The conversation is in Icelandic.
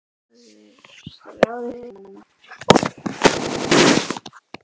Heldur þú að strákurinn ráði við hana?